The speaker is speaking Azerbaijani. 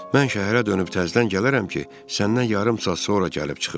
Mən şəhərə dönüb təzədən gələrəm ki, səndən yarım saat sonra gəlib çıxım.